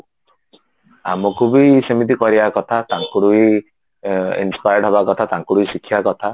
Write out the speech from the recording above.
ଆମକୁ ବି ସେମିତି କରିବା କଥା ତାଙ୍କଠୁ ବି inspired ହବା କଥା ତାଙ୍କଠୁ ବି ଶିଖିବା କଥା